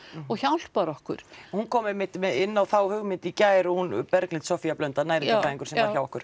og hjálpar okkur hún kom einmitt inn á þá hugmynd í gær hún Berglind Soffía Blöndal næringarfræðingur sem var hjá okkur